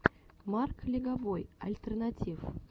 марк легобой альтернатив